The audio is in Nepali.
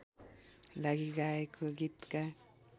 लागि गाएको गीतका